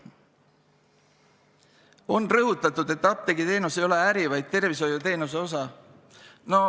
On rõhutatud, et apteegiteenus ei ole äri, vaid tervishoiuteenuse osa.